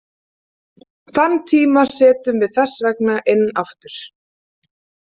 Þann tíma setjum við þess vegna inn aftur.